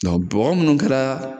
bɔgɔ munnu kɛla